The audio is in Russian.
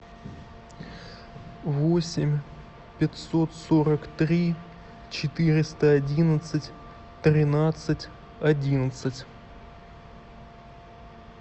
восемь пятьсот сорок три четыреста одиннадцать тринадцать одиннадцать